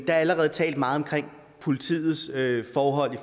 er allerede talt meget om politiets forhold